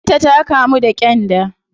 Yar ta ta kamu da gyanda